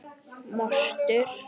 Mostur er eyja við Noreg.